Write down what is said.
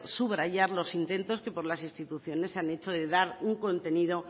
subrayar los intentos que desde las instituciones se han hecho de dar un contenido